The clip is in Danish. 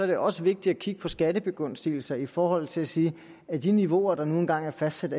det også vigtigt at kigge på skattebegunstigelser i forhold til at sige er de niveauer der nu engang er fastsat